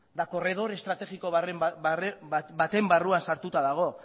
eta korredor estrategiko baten barruan sartuta dago